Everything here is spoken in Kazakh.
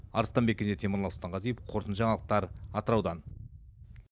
арыстанбек кенже темірлан сұлтанғазиев қорытынды жаңалықтар атыраудан